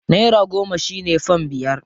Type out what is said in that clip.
Naira goma shi ne fam biyar.